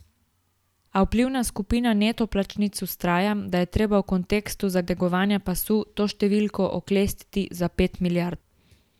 A vplivna skupina neto plačnic vztraja, da je treba v kontekstu zategovanja pasu to številko oklestiti za pet milijard.